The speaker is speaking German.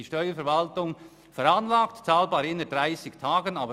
Die Steuerverwaltung veranlagt, innerhalb von 30 Tagen zu bezahlen.